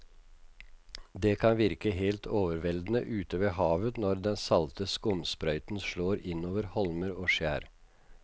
Det kan virke helt overveldende ute ved havet når den salte skumsprøyten slår innover holmer og skjær.